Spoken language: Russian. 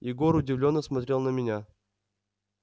егор удивлённо смотрел на меня